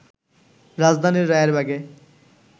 রাজধানীর রায়েরবাগে